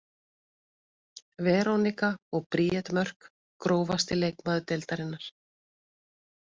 Veronika og Bríet Mörk Grófasti leikmaður deildarinnar?